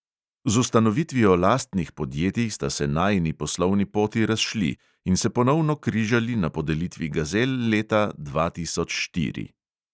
Z ustanovitvijo lastnih podjetij sta se najini poslovni poti razšli in se ponovno križali na podelitvi gazel leta dva tisoč štiri.